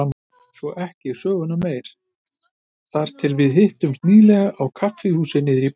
Svo ekki söguna meir þar til við hittumst nýlega á kaffihúsi niðri í bæ.